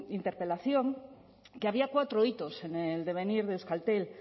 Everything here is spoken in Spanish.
interpelación que había cuatro hitos en el devenir de euskaltel